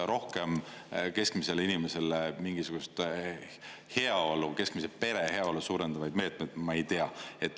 Rohkem keskmisele inimesele mingisugust keskmise pere heaolu suurendavaid meetmeid ma ei tea.